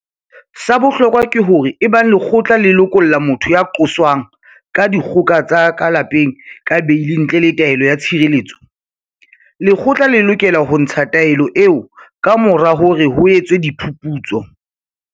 Sa bohlokwa ke hore ebang lekgotla le lokolla motho ya qoswang ka dikgoka tsa ka lapeng ka beili ntle le taelo ya tshireletso, lekgotla le lokela ho ntsha taelo eo kamora hore ho etswe phuputso.